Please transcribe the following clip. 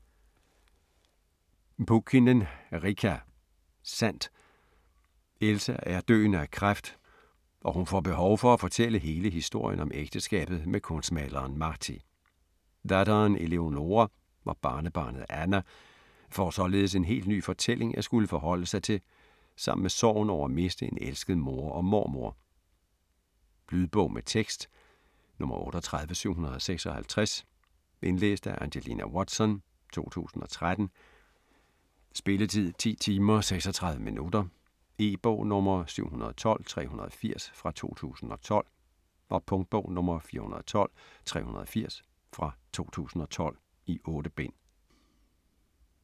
Pulkkinen, Riikka: Sandt Elsa er døende af kræft, og hun får behov for at fortælle hele historien om ægteskabet med kunstmaleren Martti. Datteren Eleonoora og barnebarnet Anna får således en helt ny fortælling at skulle forholde sig til sammen med sorgen over at miste en elsket mor og mormor. Lydbog med tekst 38756 Indlæst af Angelina Watson, 2013. Spilletid: 10 timer, 36 minutter. E-bog 712380 2012. Punktbog 412380 2012. 8 bind.